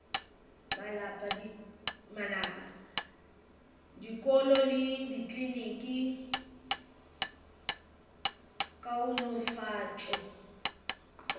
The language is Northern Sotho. malapa dikolo le dikliniki kaonafatšo